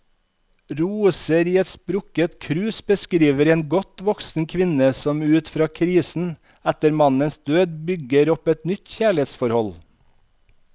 Roser i et sprukket krus beskriver en godt voksen kvinne som ut av krisen etter mannens død, bygger opp et nytt kjærlighetsforhold.